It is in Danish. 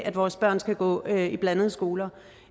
at vores børn skal gå i blandede skoler